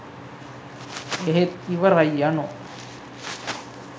එහෙත් ඉවරයි යනු